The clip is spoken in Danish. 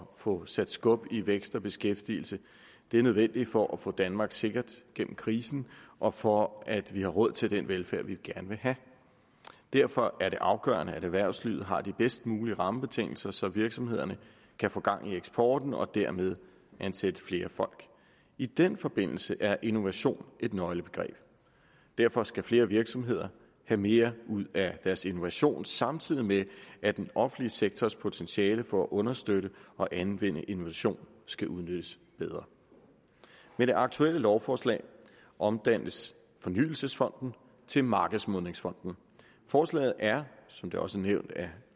at få sat skub i vækst og beskæftigelse det er nødvendigt for at få danmark sikkert gennem krisen og for at vi har råd til den velfærd vi gerne vil have derfor er det afgørende at erhvervslivet har de bedst mulige rammebetingelser så virksomhederne kan få gang i eksporten og dermed ansætte flere folk i den forbindelse er innovation et nøglebegreb derfor skal flere virksomheder have mere ud af deres innovation samtidig med at den offentlige sektors potentiale for at understøtte og anvende innovation skal udnyttes bedre med det aktuelle lovforslag omdannes fornyelsesfonden til markedsmodningsfonden forslaget er som det også blev nævnt af